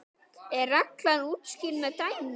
er reglan útskýrð með dæmi